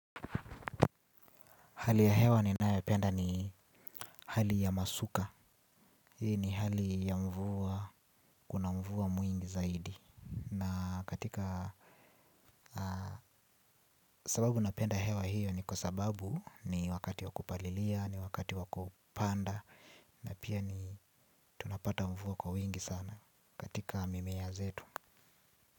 Hali ya hewa ninayopenda ni hali ya masuka. Hii ni hali ya mvua, kuna mvua mwingi zaidi. Na katika sababu napenda hewa hiyo ni kwa sababu ni wakati wa kupalilia, ni wakati wa kupanda. Na pia ni tunapata mvua kwa mwingi sana katika mimea zetu.